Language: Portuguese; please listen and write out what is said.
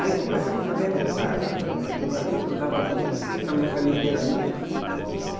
Aí começamos a fazer aquele barulho sabe né, aquele barulho que não dava música, ninguém também sabia o que era música.